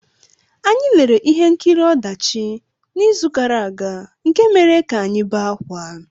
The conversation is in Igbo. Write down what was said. Anyị lere ihe nkiri ọdachi n’izu gara aga nke mere ka anyị bee ákwá.